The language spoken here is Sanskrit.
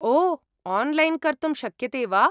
ओ, आन्लैन् कर्तुं शक्यते वा?